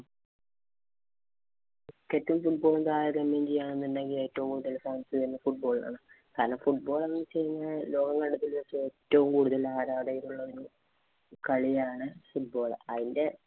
Cricket ഉം, football ഉം താരതമ്യം ചെയ്യുകയാണെങ്കില്‍ ഏറ്റവും കൂടുതല്‍ fans football ഇനാണ്. അല്ല football എന്ന് വച്ച് കഴിഞ്ഞാല്‍ ലോകം കണ്ടത്തില്‍ വച്ച് ഏറ്റവും കൂടുതല്‍ ആരാധകരുള്ള കളിയാണ്‌ football.